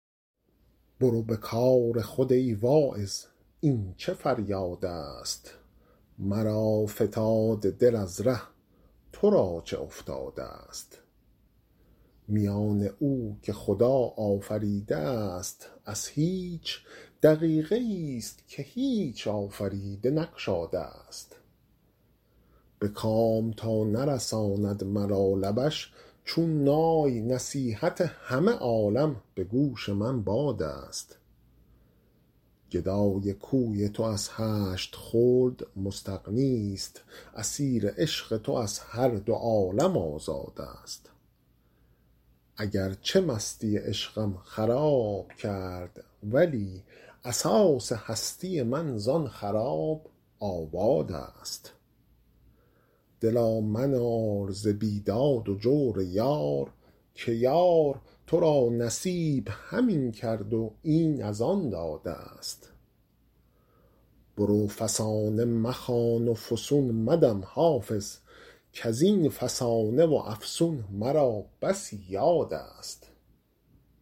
برو به کار خود ای واعظ این چه فریادست مرا فتاد دل از ره تو را چه افتادست میان او که خدا آفریده است از هیچ دقیقه ای ست که هیچ آفریده نگشادست به کام تا نرساند مرا لبش چون نای نصیحت همه عالم به گوش من بادست گدای کوی تو از هشت خلد مستغنی ست اسیر عشق تو از هر دو عالم آزادست اگر چه مستی عشقم خراب کرد ولی اساس هستی من زآن خراب آبادست دلا منال ز بیداد و جور یار که یار تو را نصیب همین کرد و این از آن دادست برو فسانه مخوان و فسون مدم حافظ کز این فسانه و افسون مرا بسی یادست